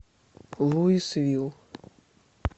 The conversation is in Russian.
луисвилл